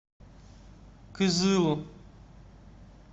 кызылу